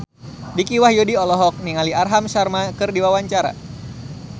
Dicky Wahyudi olohok ningali Aham Sharma keur diwawancara